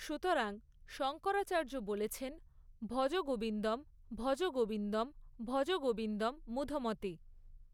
সুতরাং শঙ্করাচার্য বলেছেন ভজ গোবিন্দম্ ভজ গোবিন্দম্ ভজ গোবিন্দম্ মূধমতে।